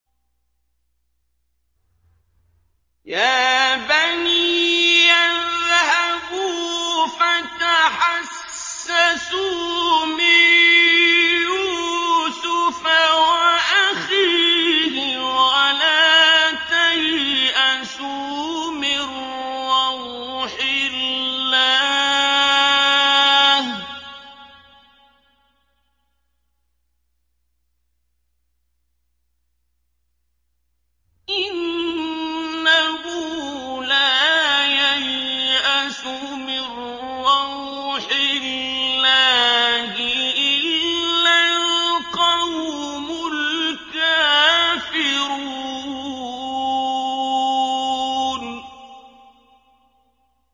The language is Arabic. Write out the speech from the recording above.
يَا بَنِيَّ اذْهَبُوا فَتَحَسَّسُوا مِن يُوسُفَ وَأَخِيهِ وَلَا تَيْأَسُوا مِن رَّوْحِ اللَّهِ ۖ إِنَّهُ لَا يَيْأَسُ مِن رَّوْحِ اللَّهِ إِلَّا الْقَوْمُ الْكَافِرُونَ